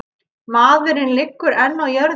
Maðurinn liggur enn á jörðinni.